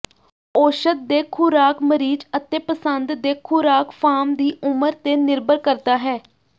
ਔਸ਼ਧ ਦੇ ਖੁਰਾਕ ਮਰੀਜ਼ ਅਤੇ ਪਸੰਦ ਦੇ ਖੁਰਾਕ ਫਾਰਮ ਦੀ ਉਮਰ ਤੇ ਨਿਰਭਰ ਕਰਦਾ ਹੈ